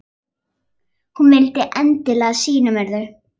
Hún vildi endilega sýna mér þau.